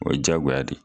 O ye jagoya de ye